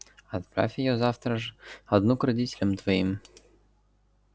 отправь её завтра же одну к родителям твоим